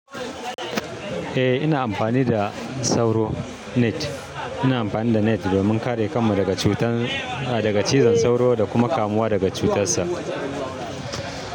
Eh ina amfani da sauro net. Ina amfani da net domin kare kanmu daga cutar, daga cizon sauro da kuma kamuwa daga cutarsa.